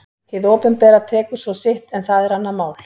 Hið opinbera tekur svo sitt en það er annað mál.